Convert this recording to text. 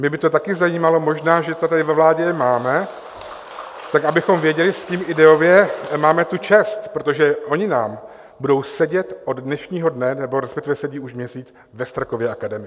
Mě by to taky zajímalo, možná že to tady ve vládě máme, tak abychom věděli, s kým ideově máme tu čest, protože oni nám budou sedět od dnešního dne, nebo respektive sedí už měsíc ve Strakově akademii.